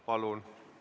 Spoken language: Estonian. Palun!